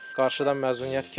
Qarşıdan məzuniyyət gəlir.